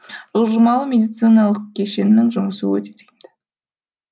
жылжымалы медициналық кешеннің жұмысы өте тиімді